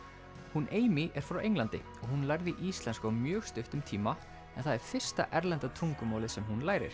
hún er frá Englandi hún lærði íslensku á mjög stuttum tíma en það er fyrsta erlenda tungumálið sem hún lærir